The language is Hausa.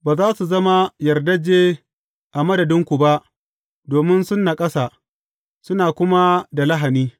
Ba za su zama yardajje a madadinku ba, domin sun naƙasa, suna kuma da lahani.’